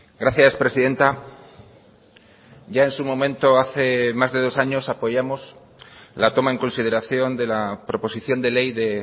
gracias presidenta ya en su momento hace más de dos años apoyamos la toma en consideración de la proposición de ley de